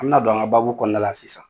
An bɛ na don an ka kɔnɔna la sisan.